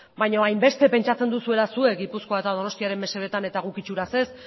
baina hainbeste pentsatzen duzuela zuek gipuzkoa eta donostiaren mesedetan eta guk itxuraz ez